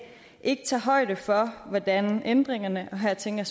ikke tager højde for hvordan ændringerne og her tænker